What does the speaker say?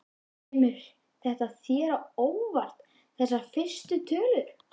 Kemur þetta þér á óvart þessar fyrstu tölur?